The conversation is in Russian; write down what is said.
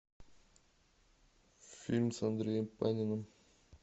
фильм с андреем паниным